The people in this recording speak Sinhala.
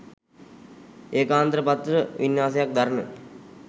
ඒකාන්තර පත්‍ර වින්‍යාසයක් දරන